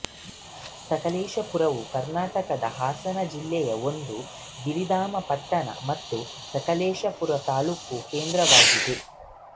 ಸಕಲೇಶಪುರವು ಕರ್ನಾಟಕದ ಹಾಸನ ಜಿಲ್ಲೆಯ ಒಂದು ಗಿರಿಧಾಮ ಪಟ್ಟಣ ಮತ್ತು ಸಕಲೇಶಪುರವು ತಾಲ್ಲೂಕು ಕೇಂದ್ರವಾಗಿದೆ